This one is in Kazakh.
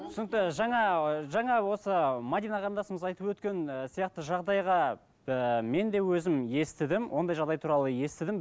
түсінікті жаңа ы жаңа осы мәдина қарындасымыз айтып өткен ы сияқты жағдайға ыыы мен де өзім естідім ондай жағдай туралы естідім